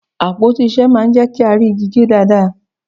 Àpótí ìṣe máa ń jẹ́ kí á rí igi gé dáadáa